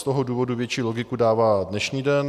Z toho důvodu větší logiku dává dnešní den.